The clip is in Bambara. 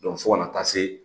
fo ka na taa se